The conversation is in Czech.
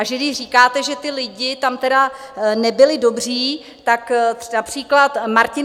A že když říkáte, že ti lidé tam tedy nebyli dobří, tak například Martin